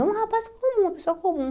É um rapaz comum, uma pessoa comum.